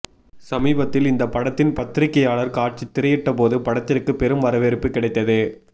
சமீபத்தில் இந்த படத்தின் பத்திரிகையாளர் காட்சி திரையிட்டபோது படத்திற்கு பெரும் வரவேற்பு கிடைத்தது